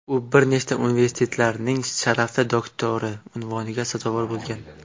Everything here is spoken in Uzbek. U bir nechta universitetlarning sharafli doktori unvoniga sazovor bo‘lgan.